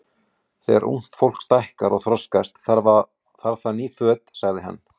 Þegar ungt fólk stækkar og þroskast, þarf það ný föt sagði hann.